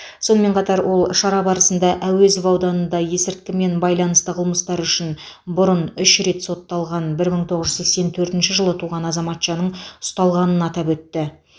сонымен қатар ол шара барысында әуезов ауданында есірткімен байланысты қылмыстары үшін бұрын үш рет сотталған бір мың тоғыз жүз сексен төртінші жылы туған азаматшаның ұсталғанын атап өтті